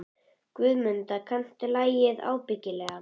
Guðmunda, kanntu að spila lagið „Ábyggilega“?